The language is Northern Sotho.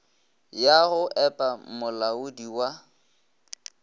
ya go epa molaodi wa